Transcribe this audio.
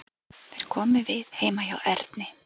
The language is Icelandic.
Þeir komu við heima hjá Erni.